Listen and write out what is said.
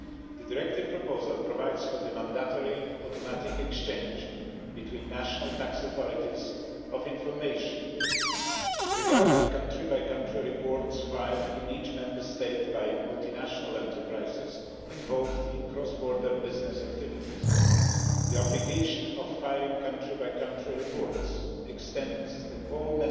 The directive proposal provides for the mandatory automatic exchange between national tax authorities of information regarding country-by-country reports filed in each Member State by multinational enterprises involved in cross border business activities. The obligation of filing country-by-country reports extends to all